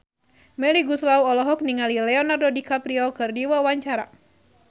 Melly Goeslaw olohok ningali Leonardo DiCaprio keur diwawancara